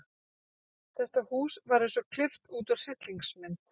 Þetta hús var eins og klippt út úr hryllingsmynd.